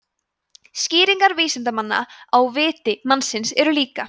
skýringar vísindanna á „viti“ mannsins eru líka